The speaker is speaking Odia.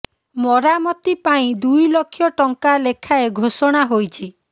ମରାମତି ପାଇଁ ଦୁଇ ଲକ୍ଷ ଟଙ୍କା ଲେଖାଏ ଘୋଷଣା ହୋଇଛି